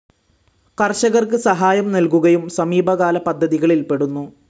കർഷകർക്ക് സഹായം നൽകുകയും സമീപകാല പദ്ധതികളിൽ പെടുന്നു.